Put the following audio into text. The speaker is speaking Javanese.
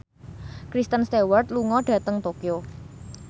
Kristen Stewart lunga dhateng Tokyo